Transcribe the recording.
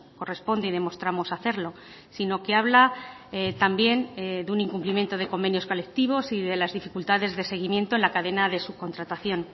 corresponde y demostramos hacerlo sino que habla también de un incumplimiento de convenios colectivos y de las dificultades de seguimiento en la cadena de subcontratación